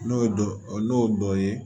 N'o ye dɔ ye